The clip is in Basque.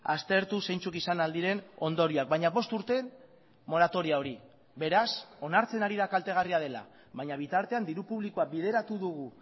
aztertu zeintzuk izan ahal diren ondorioak baina bost urteen moratoria hori beraz onartzen ari da kaltegarria dela baina bitartean diru publikoa bideratu dugu